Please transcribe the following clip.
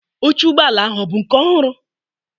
oche ụgbọ ala ahụ ọ bụ nke ọhụrụ?